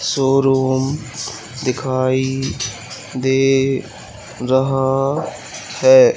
Showroom दिखाई दे रहा है।